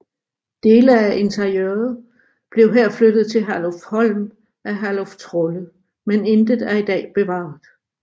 Dele af interiøret blev her flyttet til Herlufsholm af Herluf Trolle men intet er i dag bevaret